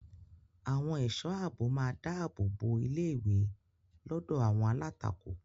Àwọn ẹ̀ṣọ́ ààbò máa dáàbò bo ilé-ìwé lọ́dọ̀ àwọn alátakò.